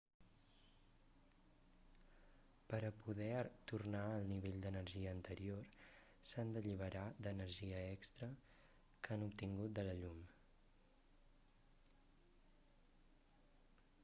per a poder tornar al nivell d'energia anterior s'han d'alliberar d'energia extra que han obtingut de la llum